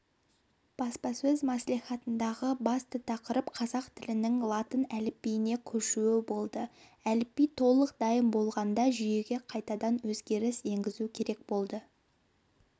баспасөз мәслихатындағы басты тақырып қазақ тілінің латын әліпбиіне көшуі болды әліпби толық дайын болғанда жүйеге қайтадан өзгеріс енгізу керек болады